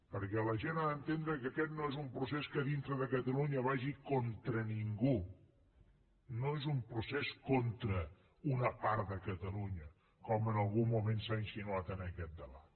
perquè la gent ha d’entendre que aquest no és un procés que a dintre de catalunya vagi contra ningú no és un procés contra una part de catalunya com en algun moment s’ha insinuat en aquest debat